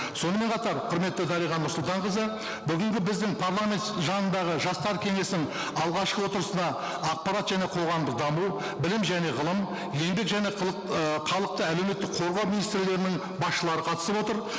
сонымен қатар құрметті дариға нұрсұлтанқызы бүгінгі біздің парламент жанындағы жастар кеңесінің алғашқы отырысында ақпарат және қоғамдық даму білім және ғылым еңбек және ііі халықты әлеуметтік қорғау министрлігілерінің басшылары қатысып отыр